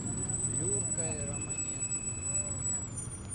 флюркой романенко